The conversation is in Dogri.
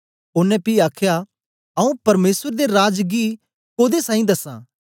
ओनें पी आखया आऊँ परमेसर दे राज गी कोदे साईं दसां